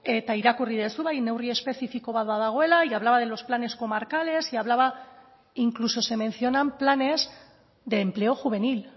eta irakurri duzu bai neurri espezifiko bat badagoela y hablaba de los planes comarcales y hablaba incluso se mencionan planes de empleo juvenil